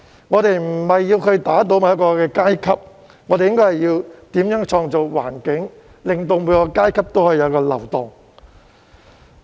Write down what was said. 我們無意要打倒某一個階級，大家反而應該思考如何創造環境，令各階級有所流動。